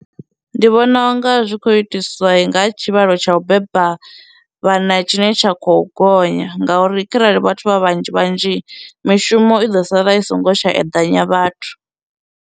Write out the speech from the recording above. Ndi vhona unga zwi khou itiswa nga tshivhalo tsha u beba vhana tshine tsha khou gonya ngauri kharali vhathu vha vhanzhi vhanzhi mishumo i ḓo sala i songo tsha eḓanya vhathu.